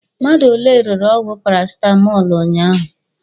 Mmadụ ole rere ọgwụ parasitamọlụ ụnyaahụ?